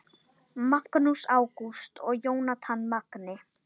Magnús Ágúst og Jónatan Magni